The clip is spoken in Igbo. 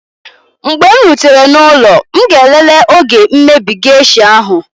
mgbe m rutere n'ụlọ m ga-elele oge mmebi geisha ahu